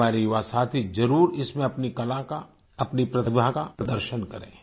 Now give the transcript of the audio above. हमारे युवासाथी जरुर इसमें अपनी कला का अपनी प्रतिभा का प्रदर्शन करें